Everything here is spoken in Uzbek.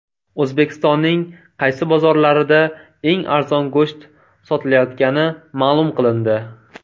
O‘zbekistonning qaysi bozorlarida eng arzon go‘sht sotilayotgani ma’lum qilindi.